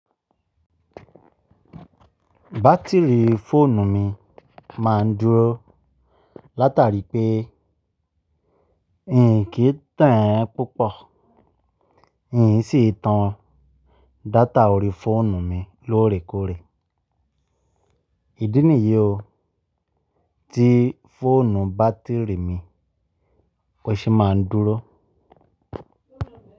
Batiri fóònù mi máa ń dúró látàrí pé n kì í tàn án púpọ̀, n sì tan data ori fóònù mi lóòrèkóòrè. Ìdí nìyí o tí fóònù batiri mi ó ṣe máa ń dúró.